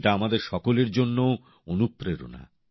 এটা আমাদের সকলের জন্যও অনুপ্রেরণা